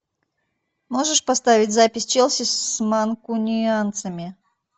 можешь поставить запись челси с манкунианцами